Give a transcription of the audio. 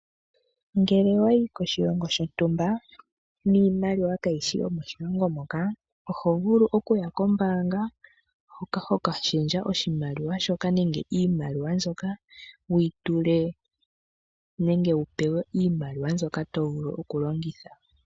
Ngele wayi koshilongo shontumba niimaliwa kayishi yo moshilongo noka oho vulu okuya kombaanga hoka ho ka lundulula oshimaliwa shoka, nenge iimaliwa mbyoka. Wu yi tule nenge wu pewe iimaliwa mbyoka to vulu okulongitha.